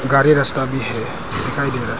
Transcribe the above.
गाड़ी रस्ता भी है दिखाई दे रहा है।